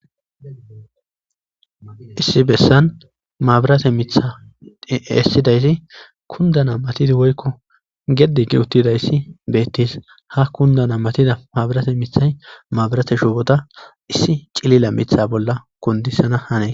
Issi bessan naburate miththay esidayis kunddana gishin woyko geddi giidi uttidayssi beetes. issi cilila mitha bolla kundisanas hanes